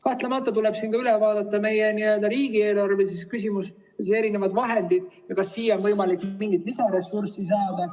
Kahtlemata tuleb üle vaadata meie riigieelarve küsimus, erinevad vahendid ja see, kas siia on võimalik mingit lisaressurssi saada.